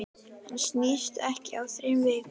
Hann snýst ekki á þrem vikum.